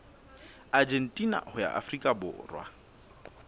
argentina ho ya afrika borwa